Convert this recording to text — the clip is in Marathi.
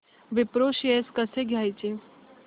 विप्रो शेअर्स कसे घ्यायचे